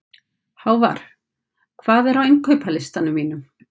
Hávarr, hvað er á innkaupalistanum mínum?